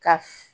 Ka f